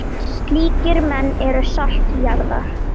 Slíkir menn eru salt jarðar.